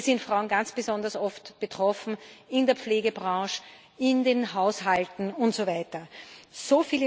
Hier sind Frauen ganz besonders oft betroffen in der Pflegebranche, in den Haushalten usw.